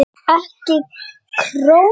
EKKI KRÓNU?